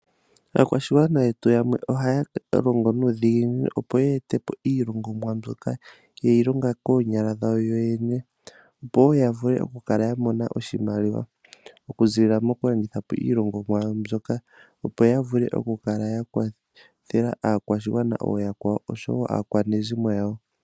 Aakwashigwana yetu yamwe ohaya longo nuudhiginini opo ya etepo iilongomwa mbyoka yeyi longa koonyala dhawo yo yene. Opo woo ya vule oku kala ya mona oshimaliwa, oku ziilila moku landita po iilongomwa yawo mbyoka, opo ya vule oku kala ya kwathela aakwashigwana ooyakwawo, oshowo aakwanezimo yawo.